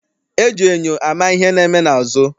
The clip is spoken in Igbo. E ji enyo ama ihe na-eme n'azụ.